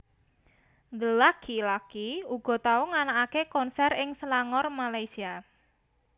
The Lucky laki uga tau nganakaké konser ing Selangor Malaysia